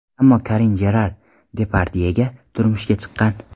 Ammo Karin Jerar Depardyega turmushga chiqqan.